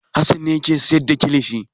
Hassan ne yake sayar da kilishi.